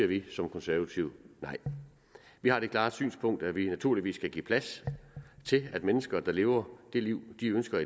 vi som konservative nej vi har det klare synspunkt at vi naturligvis skal give plads til at mennesker der lever det liv de ønsker